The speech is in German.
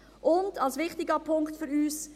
Und ein wichtiger Punkt ist für uns: